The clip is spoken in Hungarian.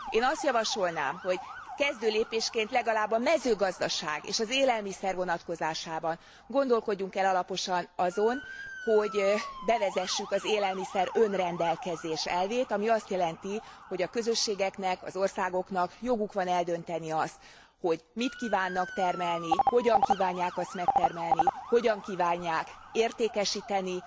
Én azt javasolnám, hogy kezdő lépésként legalább a mezőgazdaság és az élelmiszer vonatkozásában gondolkodjunk el alaposan azon, hogy bevezessük az élelmiszer önrendelkezés elvét, ami azt jelenti, hogy a közösségeknek, az országoknak joguk van eldönteni azt, hogy mit kívánnak termelni, hogyan kívánják azt megtermelni, hogyan kívánják értékesíteni.